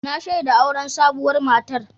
Na shaida auren sabuwar matar.